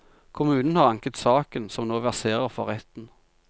Kommunen har anket saken, som nå verserer for retten.